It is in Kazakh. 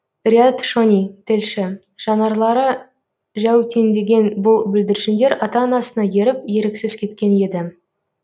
риат шони тілші жанарлары жәутеңдеген бұл бүлдіршіндер ата анасына еріп еріксіз кеткен еді